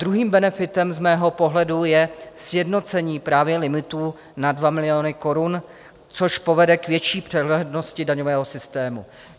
Druhým benefitem z mého pohledu je sjednocení právě limitů na 2 miliony korun, což povede k větší přehlednosti daňového systému.